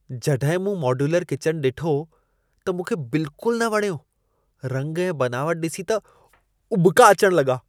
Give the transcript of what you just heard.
जॾहिं मूं modular kitchen ॾिठो त मूंखे बिल्कुल न वणियो। रंग ऐं बनावटु ॾिसी त उॿिका अचणु लॻा।